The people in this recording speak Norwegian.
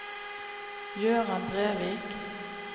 Gøran Brevik